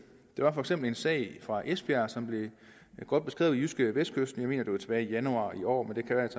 der var for eksempel en sag fra esbjerg som blev godt beskrevet i jydskevestkysten jeg mener det var tilbage i januar i år